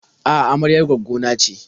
A'a, amaryar gwaddo na ce.